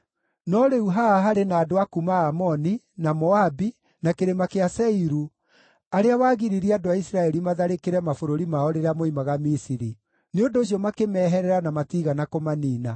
“No rĩu, haha harĩ na andũ a kuuma Amoni, na Moabi, na Kĩrĩma kĩa Seiru, arĩa wagiririe andũ a Isiraeli matharĩkĩre mabũrũri mao rĩrĩa moimaga Misiri; nĩ ũndũ ũcio makĩmeherera na matiigana kũmaniina.